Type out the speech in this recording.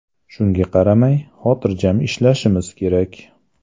Shunga qaramay, xotirjam ishlashimiz kerak.